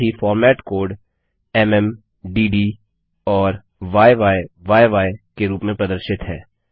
साथ ही format code म् डिड और य्यी के रूप में प्रदर्शित है